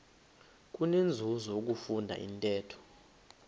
kunenzuzo ukufunda intetho